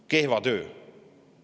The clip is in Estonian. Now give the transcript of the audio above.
Kehva töö.